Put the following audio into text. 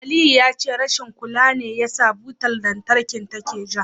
Aliyu ya ce rashin kula ne yasa butar lantarkin take ja.